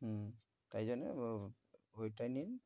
হম তাই জন্যে ও~ ঐটা নিন।